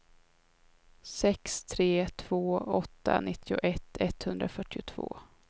sex tre två åtta nittioett etthundrafyrtiotvå